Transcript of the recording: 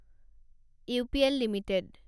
UPL limited